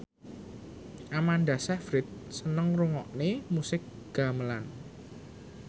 Amanda Sayfried seneng ngrungokne musik gamelan